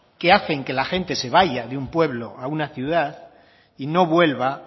que hacen que la gente se vaya de un pueblo a una ciudad y no vuelva